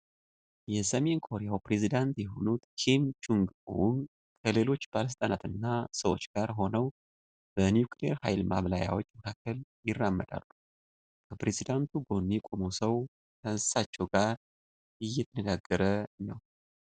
የሰሜን ኮሪያ ፕሬዚደንት የሆኑት ኪም ቾንግ ኡን ከሌሎች ባለስልጣናት እና ሰዎች ጋር ሆነው በኒኩለር ሃይል ማብላያዎች መካከል ይራመዳሉ። ከፕሬዝደንቱ ጎን የቆመው ሰው ከእሳቸው ጋር እየተነጋገረ ነው።